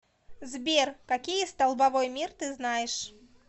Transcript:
сбер какие столбовой мир ты знаешь